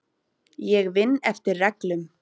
Ég vinn eftir reglum.